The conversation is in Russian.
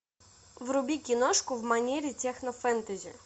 вруби киношку в манере технофэнтези